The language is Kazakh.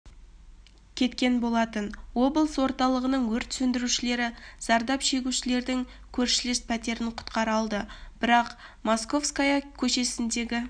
кетткен болатын облыс орталығының өрт сөндірушілері зардап шегушілердің көршілес пәтерін құтқара алды бірақ московская көшесіндегі